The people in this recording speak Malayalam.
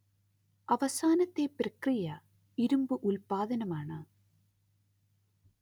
അവസാനത്തെ പ്രക്രിയ ഇരുമ്പ് ഉല്പാദനമാണ്